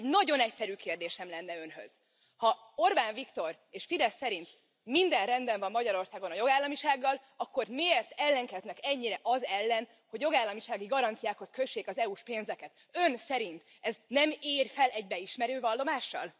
Egy nagyon egyszerű kérdésem lenne Önhöz ha Orbán Viktor és a Fidesz szerint minden rendben van Magyarországon a jogállamisággal, akkor miért ellenkeznek ennyire az ellen, hogy jogállamisági garanciákhoz kössék az EU s pénzeket? Ön szerint ez nem ér fel egy beismerő vallomással?